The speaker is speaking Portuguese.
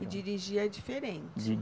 E dirigia diferente?